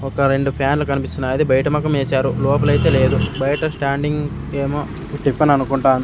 ఒక రెండు ఫ్యాన్లు కనిపిస్తున్నాయి అది బయట మొకం వేశారు లోపలైతే లేదు బయట స్టాండింగ్ ఏమో టిఫన్ అనుకుంటాను.